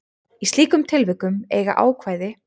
Í slíkum tilvikum eiga ákvæði